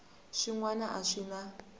swin wana a swi na